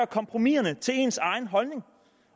kompromiserne til ens egen holdning